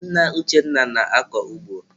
Nna Uchenna na-akọ ugbo.